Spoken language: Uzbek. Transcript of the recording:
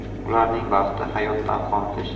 Ularning baxti hayotdan qoniqish.